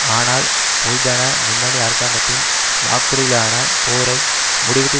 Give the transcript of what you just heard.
ஆனால் பொதுஜன முன்னணி அரசாங்கத்தின் வாக்குறுதிகளான போரை முடிவுக்கு